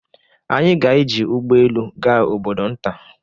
Anyị ga-eji ụgbọ elu gaa obodo nta.